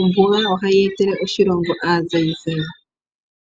Ombuga ohayi etele oshilongo aazayizayi.